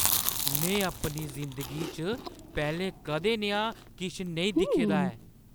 में अपनी जिंदगी च पैह्‌लें कदें नेहा किश नेईं दिक्खे दा ऐ।